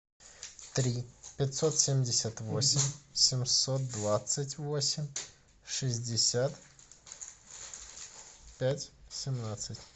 три пятьсот семьдесят восемь семьсот двадцать восемь шестьдесят пять семнадцать